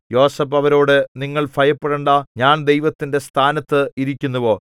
യോസേഫ് അവരോട് നിങ്ങൾ ഭയപ്പെടേണ്ടാ ഞാൻ ദൈവത്തിന്റെ സ്ഥാനത്ത് ഇരിക്കുന്നുവോ